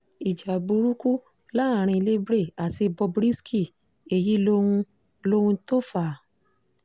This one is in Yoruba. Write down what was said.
ìjà burúkú láàrin libre àti bob risky èyí lohun lohun tó fà á